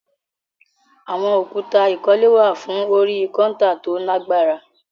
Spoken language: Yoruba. Àwọn òkúta ìkọ́lé wà fún orí kọ́ńtà tó lágbára